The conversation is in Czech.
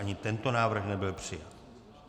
Ani tento návrh nebyl přijat.